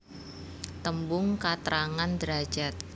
Tembung katrangan derajad